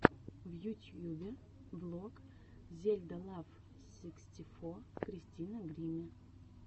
в ютьюбе влог зельда лав сиксти фо кристина гримми